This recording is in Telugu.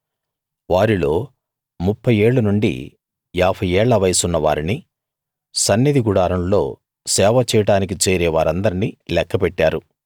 వారిల్లో ముప్ఫై ఏళ్ళు నుండి యాభై ఏళ్ల వయసున్న వారిని సన్నిధి గుడారంలో సేవ చేయడానికి చేరే వారిందర్నీ లెక్క పెట్టారు